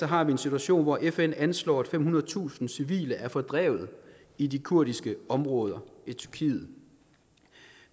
har vi en situation hvor fn anslår at femhundredetusind civile er fordrevet i de kurdiske områder i tyrkiet